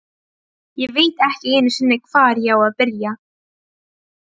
Ég veit ekki einu sinni, hvar ég á að byrja.